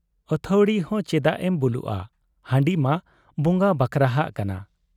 ᱟᱹᱛᱷᱟᱹᱣᱲᱤ ᱦᱚᱸ ᱪᱮᱫᱟᱜ ᱮᱢ ᱵᱩᱞᱩᱜ ᱟ ? ᱦᱟᱺᱰᱤ ᱢᱟ ᱵᱚᱸᱜᱟ ᱵᱟᱠᱷᱨᱟᱦᱟᱜ ᱠᱟᱱᱟ ᱾